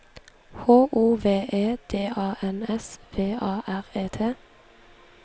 H O V E D A N S V A R E T